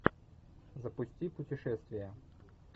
запусти путешествия